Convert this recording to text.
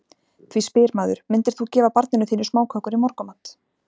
Því spyr maður, myndir þú gefa barninu þínu smákökur í morgunmat?